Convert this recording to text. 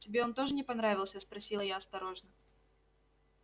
тебе он тоже не понравился спросила я осторожно